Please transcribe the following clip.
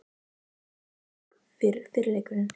Hvernig fer fyrri leikurinn?